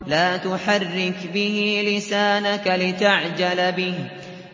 لَا تُحَرِّكْ بِهِ لِسَانَكَ لِتَعْجَلَ بِهِ